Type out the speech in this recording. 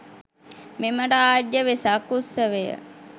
මෙම රාජ්‍ය වෙසක් උත්සවය